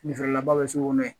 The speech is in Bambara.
Fini feerela ba bɛ sugu kɔnɔ yen